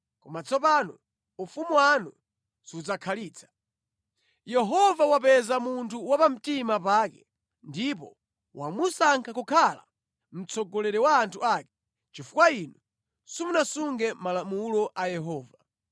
Koma tsopano ufumu wanu sudzakhalitsa. Yehova wapeza munthu wapamtima pake ndipo wamusankha kukhala mtsogoleri wa anthu ake chifukwa inu simunasunge malamulo a Yehova.”